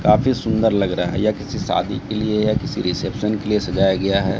काफी सुंदर लग रहा यह किसी शादी के लिए या किसी रिसेप्शन के लिए सजाया गया है।